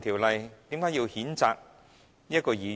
為何要譴責這位議員？